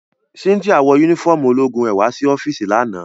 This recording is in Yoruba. Cynthia wọ unifọmú ologun rẹ wa si ọfiisi lana.